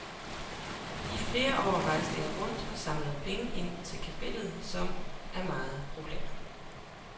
I flere år rejste jeg rundt og samlede penge ind til kapellet, som er meget populært.